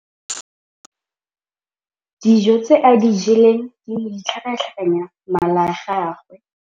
Dijô tse a di jeleng di ne di tlhakatlhakanya mala a gagwe.